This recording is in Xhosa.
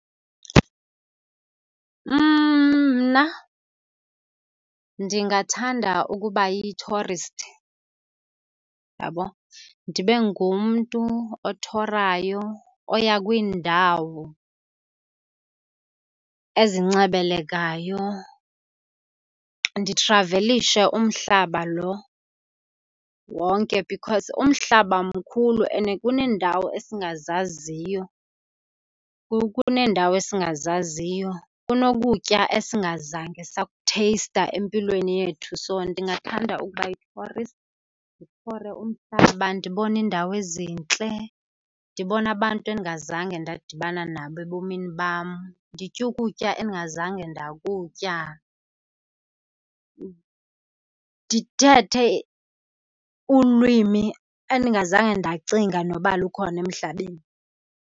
Mna ndingathanda ukuba yi-tourist, uyabona. Ndibe ngumntu othorayo, oya kwiindawo ezincebelekayo, ndithravelishe umhlaba lo wonke because umhlaba mkhulu ene kuneendawo esingazaziyo, kuneendawo esingazaziyo, kunokutya esingazange sakutheyista empilweni yethu. So ndingathanda ukuba yi-tourist, ndithore umhlaba, ndibone iindawo ezintle, ndibone abantu endingazange ndadibana nabo ebomini bam, nditye ukutya endingazange ndakutya, ndithethe ulwimi endingazange ndacinga noba lukhona emhlabeni.